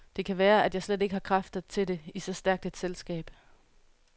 Det kan være, at jeg slet ikke har kræfter til det i så stærkt et selskab.